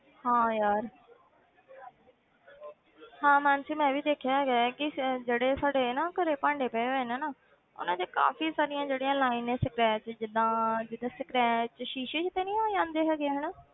ਹਾਂ ਯਾਰ ਹਾਂ ਮਾਨਸੀ ਮੈਂ ਵੀ ਦੇਖਿਆ ਹੈਗਾ ਹੈ ਕਿ ਸ~ ਜਿਹੜੇ ਸਾਡੇ ਨਾ ਘਰੇ ਭਾਂਡੇ ਪਏ ਹੋਏ ਨੇ ਨਾ ਉਹਨਾਂ ਤੇ ਕਾਫ਼ੀ ਸਾਰੀਆਂ ਜਿਹੜੀਆਂ lines ਪੈ ਜਿੱਦਾਂ ਜਿੱਦਾਂ scratch ਸ਼ੀਸ਼ੇ ਜਿਹੇ ਤੇ ਨੀ ਹੋ ਜਾਂਦੇ ਹੈਗੇ ਹਨਾ